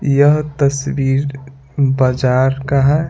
यह तस्वीर बाजार का है।